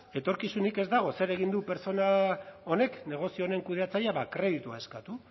etorkizunik ez dago zer egin du pertsona honek negozioen kudeatzailea bada kreditua eskatu